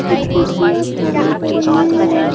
कुछ कुर्सियां खाली पड़ी हैं।